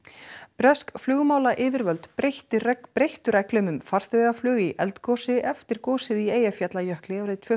bresk flugmálayfirvöld breyttu breyttu reglum um farþegaflug í eldgosi eftir gosið í Eyjafjallajökli árið tvö